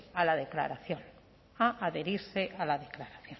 a la declaración